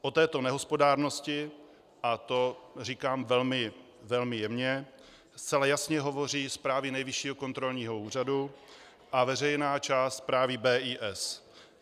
O této nehospodárnosti - a to říkám velmi jemně - zcela jasně hovoří zprávy Nejvyššího kontrolního úřadu a veřejná část zprávy BIS.